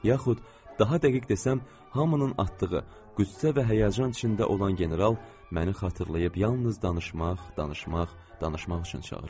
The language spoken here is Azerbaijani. Yaxud, daha dəqiq desəm, hamının atdığı qüssə və həyəcan içində olan general məni xatırlayıb yalnız danışmaq, danışmaq, danışmaq üçün çağırıb.